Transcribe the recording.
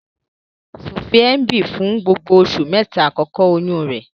Sophie ń bi fun gbogbo oṣu mẹta akọkọ oyun rẹ.